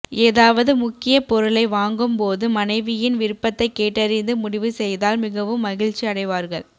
ஏதாவது முக்கிய பொருளை வாங்கும் போது மனைவியின் விருப்பதை கேட்டறிந்து முடிவு செய்தால் மிகவும் மகிழ்ச்சி அடைவார்கள்